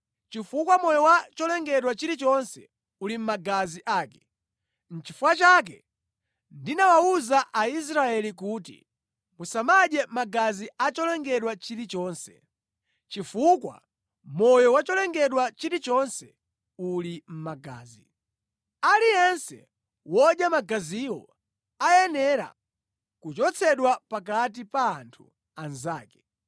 chifukwa moyo wa cholengedwa chilichonse uli mʼmagazi ake. Nʼchifukwa chake ndinawawuza Aisraeli kuti, ‘Musamadye magazi a cholengedwa chilichonse, chifukwa moyo wa cholengedwa chilichonse uli mʼmagazi. Aliyense wodya magaziwo ayenera kuchotsedwa pakati pa anthu anzake.